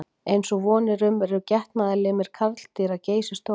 Eins og von er eru getnaðarlimir karldýra geysistórir.